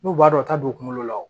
N'u b'a dɔn u t'a don kungolo la o